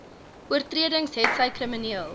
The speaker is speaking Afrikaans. oortredings hetsy krimineel